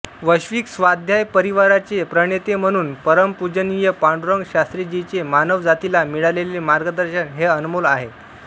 वैश्विक स्वाध्याय परिवाराचे प्रणेते म्हणुन परमपुजनीय पांडुरंग शास्त्रीजीचे मानव जातीला मीळालेले मार्गदर्शन हे अनमोल आहे